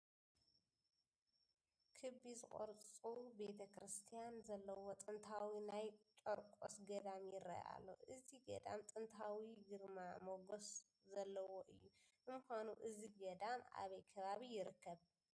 ክቢ ዝቕርፁ ቤተ ክርስቲያን ዘለዎ ጥንታዊ ናይ ጨርቆስ ገዳም ይርአ ኣሎ፡፡ እዚ ገዳም ጥንታዊ ግርማ ሞገስ ዘለዎ እዩ፡፡ ንምዃኑ እዚ ገዳም ኣበይ ከባቢ ይርከብ?